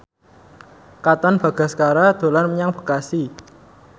Katon Bagaskara dolan menyang Bekasi